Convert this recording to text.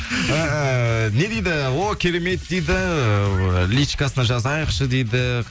ііі не дейді о керемет дейді ыыы личкасына жазайықшы дейді